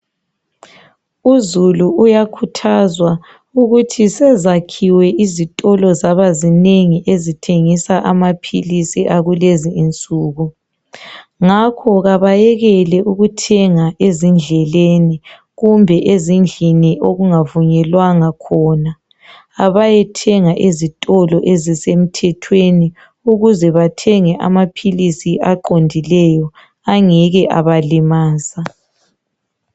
Uzulu uyakhuthazwa ukuthi sezakhiwe izitolo zaba zinengi ezithengisa amaphilisi kulezi insuku ngakho kabayekele ukuthenga ezindleleni kumbe ezindlini okungavunyelwanga khona abayethenga ezitolo ezisemthethweni ukuze bethenge amaphilisi aqondileyo angeke abalimaza.